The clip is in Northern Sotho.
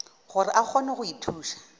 gore a kgone go ithuša